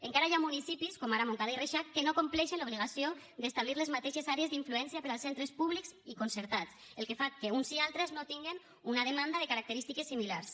encara hi ha municipis com ara montcada i reixac que no compleixen l’obligació d’establir les mateixes àrees d’influència per als centres públics i concertats cosa que fa que uns i altres no tinguin una demanda de característiques similars